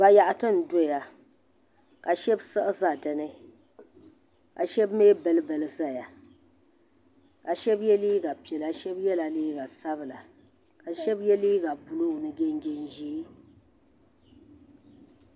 Bayaɣiti n doya la ka shɛb siɣi za di ni ka shɛb mi bili bili zaya ka shɛb yiɛ liiga piɛla shɛb yiɛla liiga sabinla ka shɛb yiɛ liiga buluu ni jinjɛm zɛɛ.